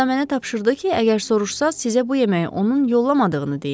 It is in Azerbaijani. Hətta mənə tapşırdı ki, əgər soruşsanız sizə bu yeməyi onun yollamadığını deyim.